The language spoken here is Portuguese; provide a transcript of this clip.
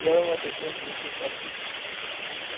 Ele era uma pessoa muito paciente.